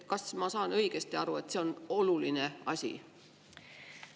Kas ma saan õigesti aru, et see on oluline asi?